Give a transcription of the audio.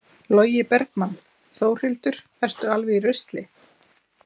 Logi Bergmann: Þórhildur, ertu alveg í rusli?